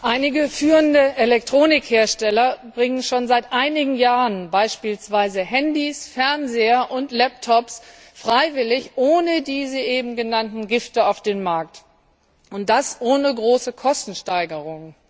Einige führende Elektronikhersteller bringen schon seit mehreren Jahren beispielsweise Handys, Fernseher und Laptops freiwillig ohne diese eben genannten Gifte auf den Markt, und das ohne große Kostensteigerung.